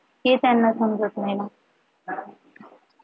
हे त्यांना समजत नाही मग